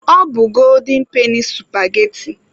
Ọ bụ golden peni supageti.